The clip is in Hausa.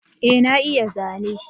Ee na iya zane